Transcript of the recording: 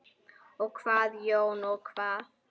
Og hvað Jón, og hvað?